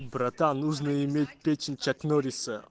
братан нужно иметь печень чак норриса